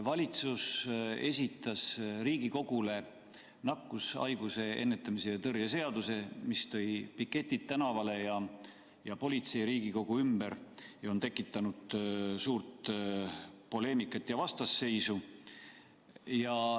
Valitsus esitas Riigikogule nakkushaiguste ennetamise ja tõrje seaduse, mis tõi piketid tänavale ja politsei Riigikogu ümber ja on tekitanud suurt poleemikat ja vastasseisu.